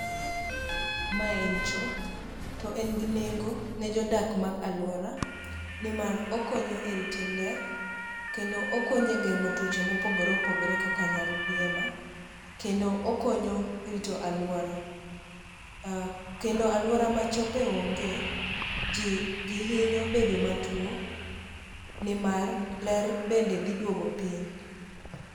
Mae en cho to en gi nengo ne jodak mag alwora nimar okonyo e rito ler kendo okonyo e geng'o tuoche mopogore opogore kaka nyaldiema kendo okonyo e rito alwora kendo alwora ma chope onge ji hinyo bedo matuo nimar ler bende dhi duogo piny.